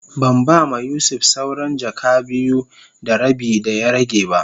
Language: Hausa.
Ban ba ma Yusuf sawran jaka biyu da rabi da ya rage be.